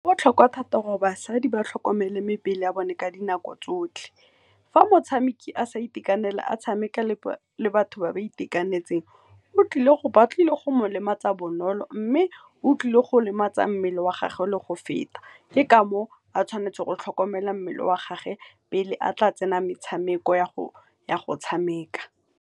Go botlhokwa thata gore basadi ba tlhokomele mebele ya bone ka dinako tsotlhe. Fa motshameki a sa itekanela a tshameka le batho ba ba itekanetseng ba tlile go mo lematsa bonolo mme o tlile go lematsa mmele wa gage le go feta, ke ka moo a tshwanetseng go tlhokomela mmele wa gagwe pele a tla tsena metshameko ya go tshameka.